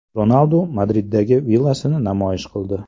Ronaldu Madriddagi villasini namoyish qildi .